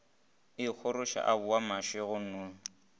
ikgoroša a boa mašego nnono